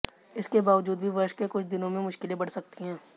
इसके बावज़ूद भी वर्ष के कुछ दिनों में मुश्किलें बढ़ सकती हैं